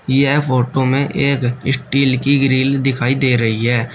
यह फोटो में एक स्टील की ग्रिल दिखाई दे रही है।